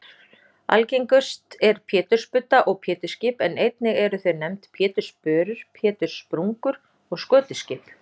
Algengust eru pétursbudda og pétursskip en einnig eru þau nefnd pétursbörur, péturspungur og skötuskip.